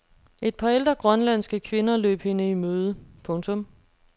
Et par ældre grønlandske kvinder løb hende i møde. punktum